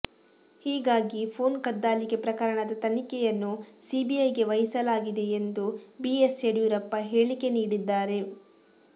ಹೀಗಾಗಿ ಪೋನ್ ಕದ್ದಾಲಿಕೆ ಪ್ರಕರಣದ ತನಿಖೆಯನ್ನು ಸಿಬಿಐಗೆ ವಹಿಸಲಾಗಿದೆ ಎಂದು ಬಿ ಎಸ್ ಯಡಿಯೂರಪ್ಪ ಹೇಳಿಕೆ ನೀಡಿದ್ದಾರೆ